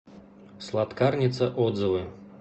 сладкарница отзывы